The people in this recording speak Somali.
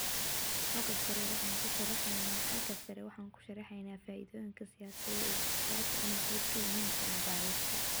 Xagga sare, waxaanu ku sharaxnay faa'iidooyinka siyaasad-dejiyeyaasha inay qayb ka yihiin cilmi-baarista.